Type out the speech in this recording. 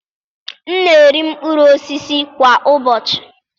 M na-eri mkpụrụ osisi kwa ụbọchị.